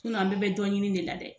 an bɛɛ bɛ dɔn ɲini de la dɛ!